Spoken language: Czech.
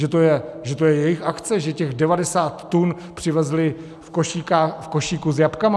Že to je jejich akce, že těch 90 tun přivezli v košíku s jabkama?